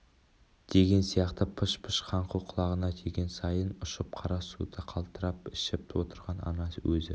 деген сияқты пыш-пыш қаңқу құлағына тиген сайын ұшып қара суды қалтырап ішіп отырған ана өзі